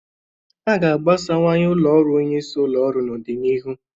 A ga-agbasawanye ụlọ ọrụ onyeisi ụlọ ọrụ n'ọdịnihu.